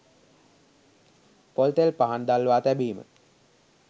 පොල්තෙල් පහන් දල්වා තැබීම